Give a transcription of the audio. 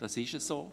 Das ist so.